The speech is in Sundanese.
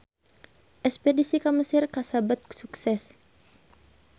Espedisi ka Mesir kasebat sukses